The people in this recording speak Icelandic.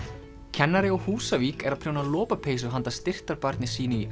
kennari á Húsavík er að prjóna lopapeysu handa styrktarbarni sínu í